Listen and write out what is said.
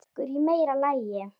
Dekur í meira lagi.